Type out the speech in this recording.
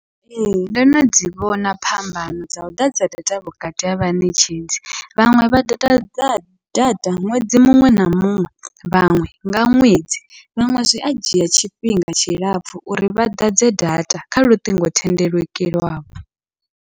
Ee, ndono dzi vhona phambano dza u ḓadza data vhukati ha vhaṋetshedzi, vhaṅwe vha ḓadza data ṅwedzi muṅwe na muṅwe vhaṅwe nga ṅwedzi vhaṅwe zwi a dzhia tshifhinga tshilapfhu uri vha ḓadze data kha luṱingothendeleki lwavho.